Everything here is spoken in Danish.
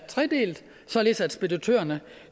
tredelt således at speditørerne